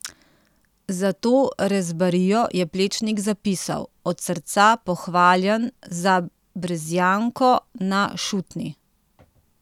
Za to rezbarijo je Plečnik zapisal: 'Od srca pohvaljen za Brezjanko na Šutni!